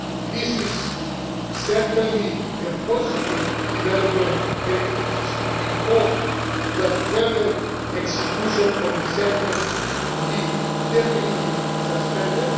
This is certainly a positive development and it is to be hoped that further execution of the sentence will be definitely suspended.